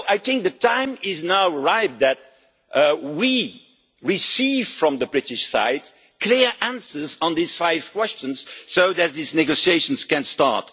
So I think the time is now right for us to receive from the British side clear answers to these five questions so that these negotiations can start.